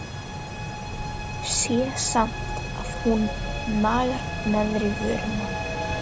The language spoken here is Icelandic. Sé samt að hún nagar neðri vörina.